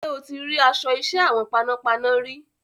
Ṣé o ti rí aṣọ iṣẹ́ àwọn panápaná rí?